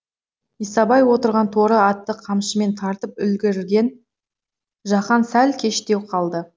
исабай отырған торы атты қамшымен тартып үлгірген жақан сәл кештеу қалды